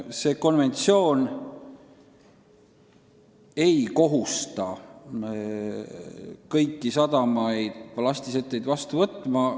See konventsioon ei kohusta kõiki sadamaid ballastisetteid vastu võtma.